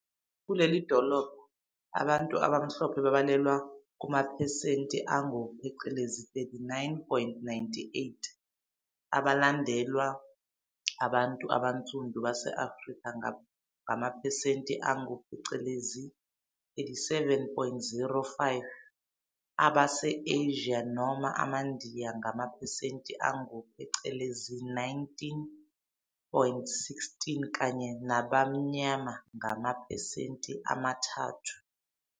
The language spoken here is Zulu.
Kulelidolobha abantu abaMhlophe babalelwa kumaphesenti angu-39.98, belandelwa abantu abansundu base-Afrika ngamaphesenti angu 37.05, Abase-Asia Noma AmaNdiya ngamaphesenti angu-19.16 kanye nabamnyama ngamaphesenti amathathu.